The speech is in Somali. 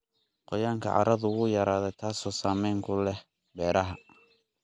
Qoyaanka carradu wuu yaraaday, taasoo saameyn ku leh beeraha.